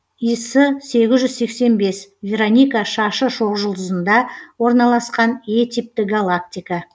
ес сегіз жүз сексен бес вероника шашы шоқжұлдызында орналасқан е типті галактика